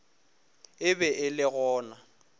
e be e le gona